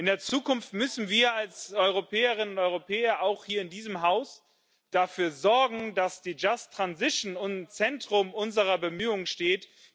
In der Zukunft müssen wir als Europäerinnen und Europäer auch hier in diesem Haus dafür sorgen, dass die just transition im Zentrum unserer Bemühungen steht.